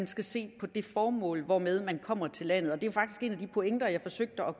skal ses på det formål hvormed man kommer til landet og det er jo faktisk en af de pointer jeg forsøgte at